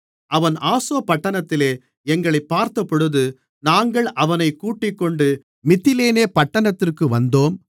அவன் ஆசோ பட்டணத்திலே எங்களைப் பார்த்தபொழுது நாங்கள் அவனைக் கூட்டிக்கொண்டு மித்திலேனே பட்டணத்திற்கு வந்தோம்